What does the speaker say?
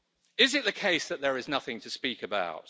Is it the case that there is nothing to speak about?